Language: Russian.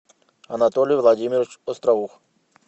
анатолий владимирович остроух